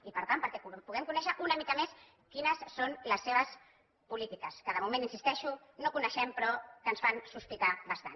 i per tant perquè puguem conèixer una mica més quines són les seves polítiques que de moment hi insisteixo no coneixem però que ens fan sospitar bastant